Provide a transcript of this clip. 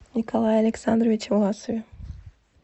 николае александровиче власове